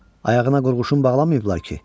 Ayağına qurğuşun bağlamayıblar ki?